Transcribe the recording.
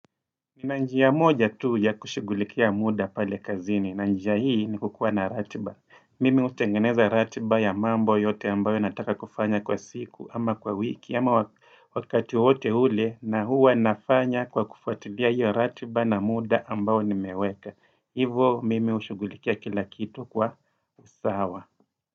Kuna njia moja tu ya kushughulikia muda pale kazini. Na njiya hii ni kukuwa na ratiba. Mimi hutengeneza ratiba ya mambo yote ambayo nataka kufanya kwa siku ama kwa wiki ama wa wakati wowote ule na huwa nafanya kwa kufuatidhia hiyo ratiba na muda ambayo nimeweka. Hivo mimi hushighulikia kila kitu kwa sawa.